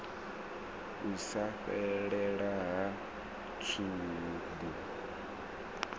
u sa fhelela ha tshubu